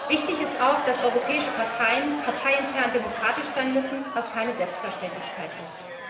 Wichtig ist auch, dass europäische Parteien parteiintern demokratisch sein müssen, was keine Selbstverständlichkeit ist.